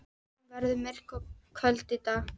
Hún verður myrk og köld í dag.